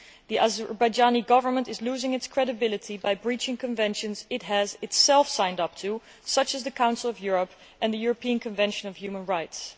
The Azerbaijani Government is losing its credibility by breaching conventions it has itself signed up to, such as the Council of Europe and the European Convention on Human Rights.